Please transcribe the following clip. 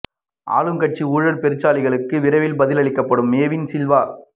ஆளும் கட்சி ஊழல் பெருச்சாளிகளுக்கு விரைவில் பதில் அளிக்கப்படும் மேவின் சில்வா